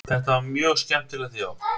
Þetta var mjög skemmtilegt já.